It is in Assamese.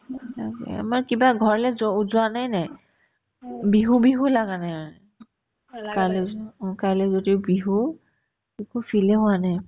এয়া কি আ আমাৰ কিবা ঘৰলে যৌ ~ যোৱানে নাই বিহু বিহু লাগা নাই মানে কাইলে উজন অ কাইলে যদি বিহু একো feel য়ে হোৱা নাই